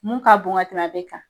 Mun ka bon ka tɛmɛ a bɛɛ kan